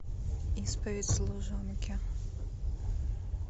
исповедь служанки